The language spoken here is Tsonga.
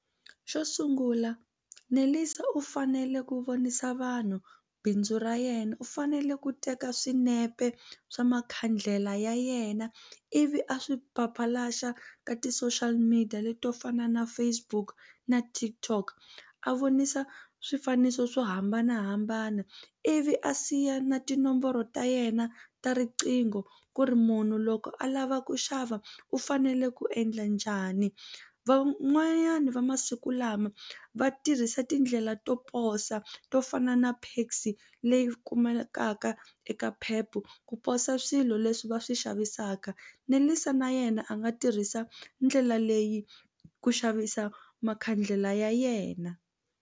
Xo sungula Nelisa u fanele ku vonisa vanhu bindzu ra yena u fanele ku teka swinepe swa makhandlela ya yena ivi a swi ka ti-social media leto fana na Facebook na Tikok a vonisa swifaniso swo hambanahambana ivi a siya na tinomboro ta yena ta riqingho ku ri munhu loko a lava ku xava u fanele ku endla njhani van'wani va masiku lama va tirhisa tindlela to posa to fana na Paxi leyi kumekaka eka Pep ku posa swilo leswi va swi xavisaka Nelisa na yena a nga tirhisa ndlela leyi ku xavisa makhandlela ya yena.